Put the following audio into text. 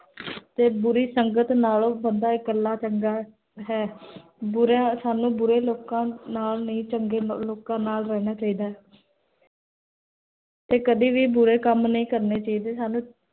ਫੇਰ ਬੁਰੀ ਸੰਗਤ ਨਾਲੋ, ਬੰਦਾ ਇਹ ਕੱਲਾ ਹੀ ਚੰਗਾ ਹੈ ਬੁਰਾ, ਸਾਨੂ ਬੁਰੇ ਲੋਕਾਂ ਨਾਲ ਨਹੀ, ਚੰਗੇ ਲੋਕਾਂ ਨਾਲ ਰਹਨਾ ਚਾਹਿਦਾ ਹੈ ਤੇ ਕਦੀ ਵੀ ਬੁਰੇ ਕਾਮ ਨਹੀ ਕਰਨੇ ਚਾਹੀਦੇ